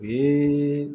O ye